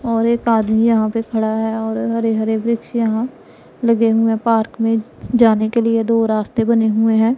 और एक आदमी यहां पे खड़ा है और हरे-हरे वृक्ष यहां लगे हुए पार्क में जाने के लिए दो रास्ते बने हुए हैं।